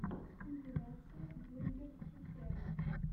компиляция бургер фифера